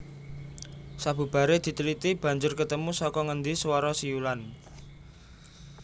Sabubare diteliti banjur ketemu saka ngendi suwara siulan